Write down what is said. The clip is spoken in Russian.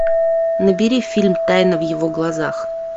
набери фильм тайна в его глазах